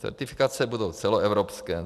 Certifikace budou celoevropské.